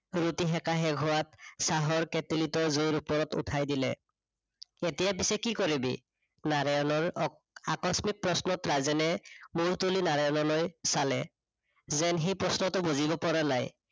ৰুটি সেকা শেষ হোৱাত চাহৰ কেটেলিতো জুইৰ ওপৰত উঠাই দিলে। এতিয়া পিছে কি কৰিবি? নাৰায়ণৰ আহ আকস্মিক প্ৰশ্নত ৰাজেনে মূৰ তুলি নাৰায়ণলৈ চালে। যেন সি প্ৰশ্নটো বুজিব পৰা নাই